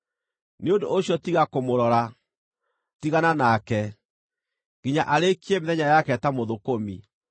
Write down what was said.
Nĩ ũndũ ũcio tiga kũmũrora, tigana nake, nginya arĩĩkie mĩthenya yake ta mũthũkũmi.